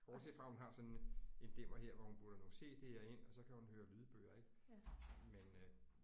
Bortset fra hun har sådan en dimmer her hvor hun putter nogle CD'er ind og så kan hun høre lydbøger ik men øh